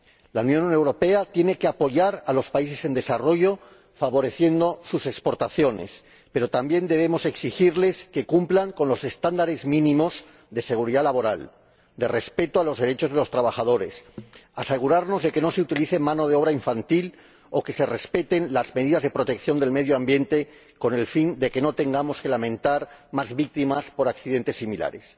La Unión Europea tiene que apoyar a los países en desarrollo, favoreciendo sus exportaciones, pero también debemos exigirles que cumplan con los estándares mínimos de seguridad laboral, de respeto de los derechos de los trabajadores, asegurarnos de que no se utilice mano de obra infantil o que se respeten las medidas de protección del medio ambiente, con el fin de que no tengamos que lamentar más víctimas por accidentes similares.